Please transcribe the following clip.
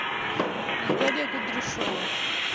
наталья кудряшова